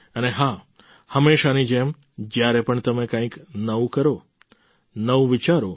અને હાં હંમેશાની જેમ જ્યારે પણ તમે કંઈક નવું કરો નવું વિચારો